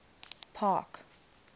park